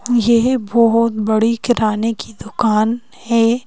यह बहोत बड़ी किराने की दुकान है।